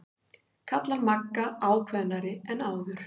kallar Magga ákveðnari en áður.